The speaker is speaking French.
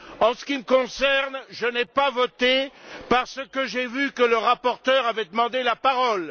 En ce qui me concerne, je n'ai pas voté parce que j'ai vu que le rapporteur avait demandé la parole.